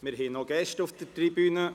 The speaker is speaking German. Wir haben Gäste auf der Tribüne.